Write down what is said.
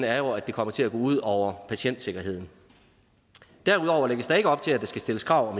er jo at det kommer til at gå ud over patientsikkerheden derudover lægges der ikke op til at der skal stilles krav